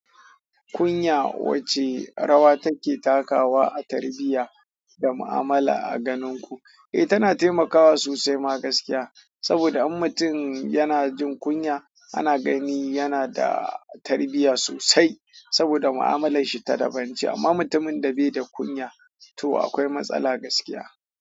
Kunya wacce rawa take takawa a tarbiyya da mu'amala a ganinku? Eh, tana taimakawa sosaima gaskiya. Saboda in mutum yanajin kunya ana gani yanada tarbiyya sosai saboda mu'amalanshi ta dabance amma mutumin da baida kunya to akwai matsala gaskiya.